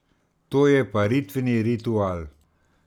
To je paritveni ritual.